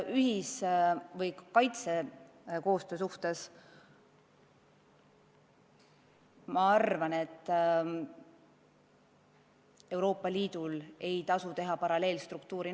Mis puutub kaitsekoostöösse, siis ma arvan, et Euroopa Liidul ei tasu teha NATO kõrvale paralleelstruktuuri.